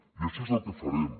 i això és el que farem